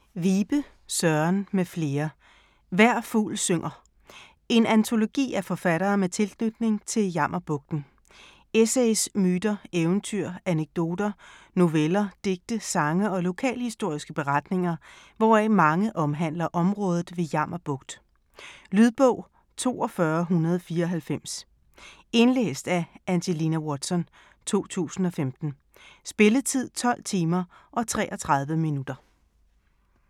Vibe, Søren m.fl.: Hver fugl synger -: en antologi af forfattere med tilknytning til Jammerbugten Essays, myter, eventyr, anekdoter, noveller, digte, sange og lokalhistoriske beretninger, hvoraf mange omhandler området ved Jammerbugt. Lydbog 42194 Indlæst af Angelina Watson, 2015. Spilletid: 12 timer, 33 minutter.